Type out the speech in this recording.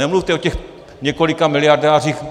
Nemluvte o těch několika miliardářích.